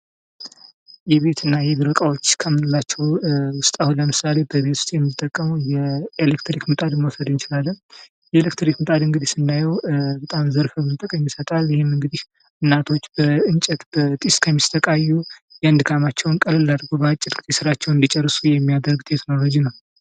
የቤትና የቢሮ ዕቃዎች ከምንላቸው ውስጥ አሁን ለምሳሌ፡-በቤት ውስጥ የምንጠቀመው የኤሌክትሪክ ምጣድ መውሰድ እንችላለን ።የኤሌክትሪክ ምጣድ እንግዲህ ስናየው በጣም ዘርፈ ብዙ ጥቅም ይሰጣል። ይህም እንግዲህ እናቶች በእንጨት በጭስ ከሚሰቃዩ ያን ድካማቸውን ቀለል አድርገው ባጭር ጊዜ ስራቸውን እንዲጨርሱ የሚያደርግ ቴክኖሎጅ ነው።